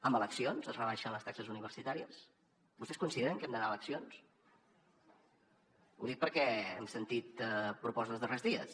amb eleccions es rebaixen les taxes universitàries vostès consideren que hem d’anar a eleccions ho dic perquè hem sentit propostes els darrers dies